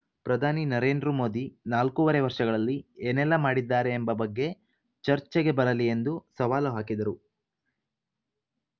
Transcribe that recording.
ಪ್ರಧಾನಿ ನರೇಂದ್ರ ಮೋದಿ ನಾಲ್ಕೂವರೆ ವರ್ಷಗಳಲ್ಲಿ ಏನೆಲ್ಲಾ ಮಾಡಿದ್ದಾರೆ ಎಂಬ ಬಗ್ಗೆ ಚರ್ಚೆಗೆ ಬರಲಿ ಎಂದು ಸವಾಲು ಹಾಕಿದರು